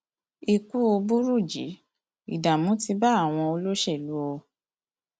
ikú burújí ìdààmú ti bá àwọn olóṣèlú o